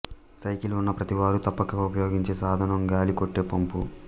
cycle ఉన్న ప్రతివారూ తప్పక ఉపయోగించు సాధనం గాలి కొట్టే పంపు